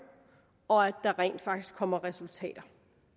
og at der rent faktisk kommer resultater